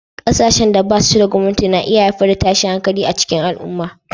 Ƙasashen da ba su da gwamnati na iya haifar da tashin hankali a cikin al'umma.